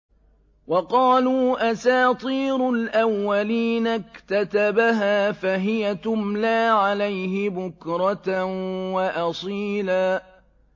وَقَالُوا أَسَاطِيرُ الْأَوَّلِينَ اكْتَتَبَهَا فَهِيَ تُمْلَىٰ عَلَيْهِ بُكْرَةً وَأَصِيلًا